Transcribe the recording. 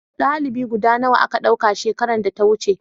dalibi guda nawa a Ka dauka shekaran da ta wuce